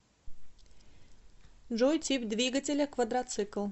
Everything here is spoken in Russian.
джой тип двигателя квадроцикл